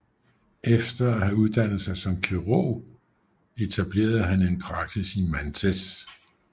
Efter at have uddannet sig som kirurg etablerede han en praksis i Mantes